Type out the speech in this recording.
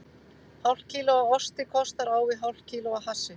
Hálft kíló af osti kostar á við hálft kíló af hassi.